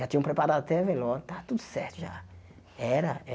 Já tinham preparado até velório, estava tudo certo já. Era